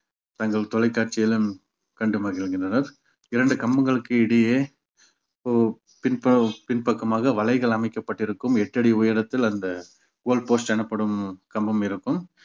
தங்கள் தொலைக்காட்சியிலும் கண்டு மகிழ்கின்றனர் இரண்டு கம்பங்களுக்கு இடையே ஒரு பின்புறம் பின்பக்கமாக வலைகள் அமைக்கப்பட்டிருக்கும் எட்டடி உயரத்தில் அந்த goal post எனப்படும் கம்பம் இருக்கும்